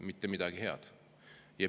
Mitte midagi head.